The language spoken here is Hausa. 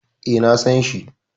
E, na san shi.